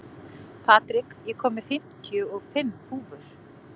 Patrik, ég kom með fimmtíu og fimm húfur!